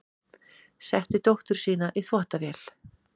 Setti dóttur sína í þvottavél